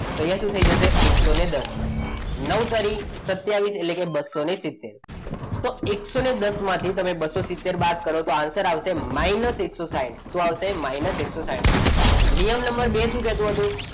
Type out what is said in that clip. તો અહીંયા શું થઈ જશે એકસો દસ. નવ તરી સત્યાવીસ એટલે કે બસો સિતેર તો એકસો દસ માંથી તમે બસો સિત્તેર બાદ કરો તો answer આવશે minus એકસો સાઈઠ શું minus એકસો સાઈઠ. નિયમ નંબર બે શું કહેતો હતો?